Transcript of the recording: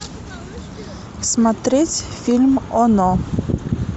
смотреть фильм оно